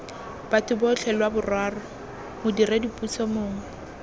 batho botlhe lwaboraro modiredipuso mongwe